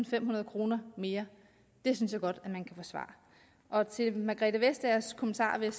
femhundrede kroner mere det synes jeg godt man kan forsvare og til fru margrethe vestagers kommentarer vil